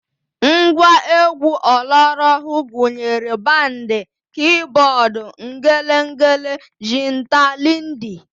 Ngwa egwu ọlọrọọhụụ gụnyere bandị, kiibọọd, ngelengele, jinta, liidi